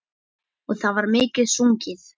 Og það var mikið sungið.